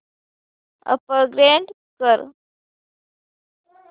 upgrade कर